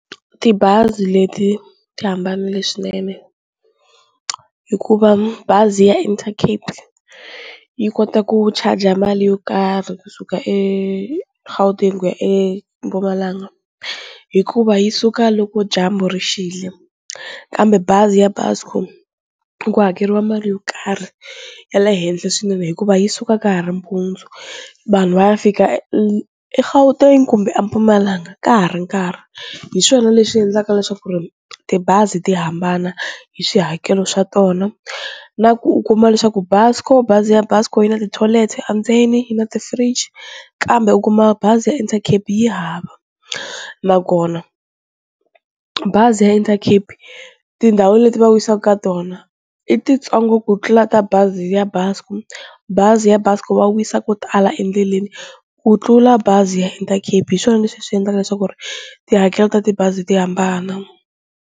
Tibazi leti ti hambanile swinene hikuva bazi ya Intercape yi kota ku charge mali yo karhi kusuka eGauteng ku ya eMpumalanga hikuva yi suka loko dyambu ri xile kambe bazi ya Buscor ku hakeriwa mali yo karhi ya le henhla swinene hikuva yi suka ka ha ri mpundzu vanhu va ya fika eGauteng kumbe eMpumalanga ka ha ri nkarhi, hiswona leswi endlaka leswaku ri tibazi ti hambana hi swihakelo swa tona na ku u kuma leswaku Buscor bazi ya Buscor yi na ti-toilet endzeni yi na ti-fridge kambe u kuma bazi ya endla Intercape yi hava, nakona bazi ya Intercape tindhawu leti va yisaku ka tona i titsongo ku tlula ta bazi ya Buscor, bazi ya Buscor va wisa ko tala endleleni ku tlula bazi ya Intercape hi swona leswi swi endlaka leswaku ri tihakelo ta tibazi ti hambana.